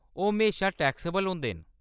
ओह्‌‌ म्हेशा टैक्सेबल होंदे न।